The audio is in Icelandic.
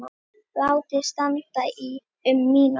Látið standa í um mínútu.